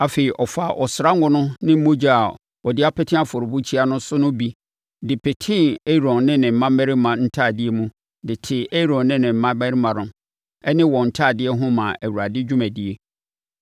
Afei ɔfaa ɔsra ngo no ne mogya a ɔde apete afɔrebukyia no so no bi de petee Aaron ne ne mmammarima ntadeɛ mu de tee Aaron ne ne mmammarima ne wɔn ntadeɛ ho maa Awurade dwumadie.